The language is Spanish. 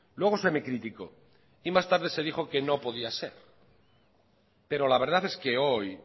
luego se me criticó y más tarde se dijo que no podía ser pero la verdad es que hoy